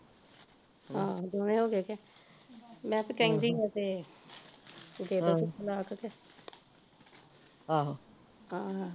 ਆਹੋ ਦੋਵੇ ਹੋਗੇ ਕਿ ਮੈਂ ਤੇ ਕਹਿੰਦੀ ਸਾ ਕਿ ਹਮ ਦੇਦੋ ਕਿ ਤਲਾਕ ਕਿ ਆਹ ਆਹੋ